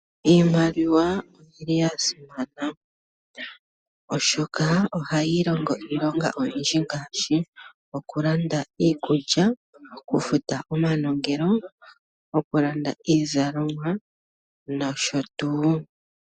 Iimaliwa oya simana oshoka oha yi longo iilonga oyindji ngaashi: nokulanda iikulya, oku futa omanongelo, oku landa iizalomwa noshotuu.